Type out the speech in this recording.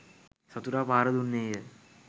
සතුරා පහර දුන්නේය